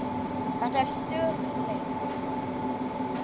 Þetta er stöðug leit!